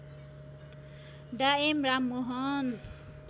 डा एम राममोहन